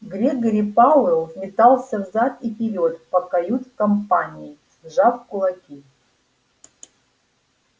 грегори пауэлл метался взад и вперёд по кают-компании сжав кулаки